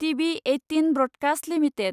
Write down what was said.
TV eighteen broadcast limited